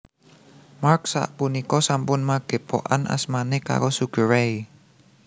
Mark sapunika sampun magépokan asmané karo Sugar Ray